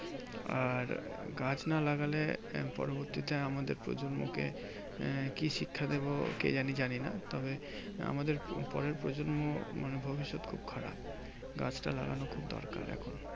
আর গাছ না লাগালে পরবর্তীতে আমাদের প্রজন্মকে আহ কি শিক্ষা দেব? কি জানি জানিনা। তবে আমাদের পরের প্রজন্ম মানে ভবিষ্যত খুব খারাপ। গাছটা লাগানো খুব দরকার এখন।